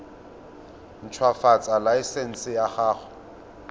ntshwafatsa laesense ya go nna